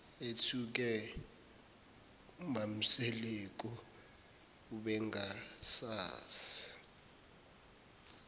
ethuke umamseleku ubengasazi